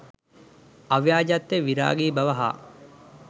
අව්‍යාජත්වය, විරාගී බව හා